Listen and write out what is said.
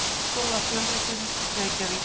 Háskólafjölritun: Reykjavík.